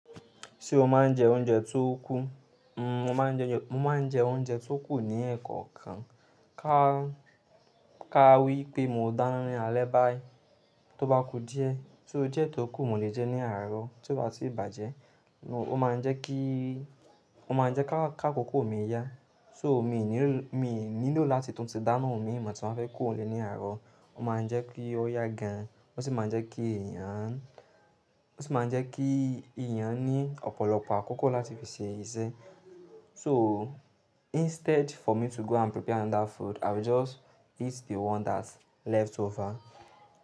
Ṣé o máa ń jẹ oúnjẹ tó kú? N, mo máa ń jẹun, mo máa ń jẹ oúnjẹ tó kù ní ẹ̀kọ̀ kan. Ká, ká wí pé mo dáná ní alẹ́ báyìí, tó bá kù díẹ̀, so diẹ́ tó kù mo lè jẹ ní àárọ̀, tió bá tì bàjẹ́, ó máa ń jẹ́ kí, ó máa ń jẹ́ ká, ká kòkó mi yá. So mi ò ní ló, mi ò nílò láti tún ti dáná, míi mọ̀ tí mo bá fẹ́ kóro nlè ní àárọ̀. Ó máa ń jẹ́ kí ó yá gan, ó sì máa ń jẹ́ kí èèyàn, ó sì máa ń jẹ́ kí èèyàn ní ọ̀pọ̀lọpọ̀ àkókò láti fi ṣe iṣẹ́. So instead for me to go and prepare another food, i will just eat the one that's leftover.